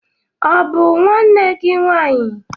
Ọ̀ bụ nwanne gị nwaanyị?